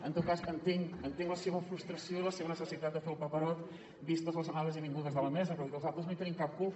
en tot cas entenc entenc la seva frustració i la seva necessitat de fer el paperot vistes les anades i vingudes de la mesa però vull dir que els altres no hi tenim cap culpa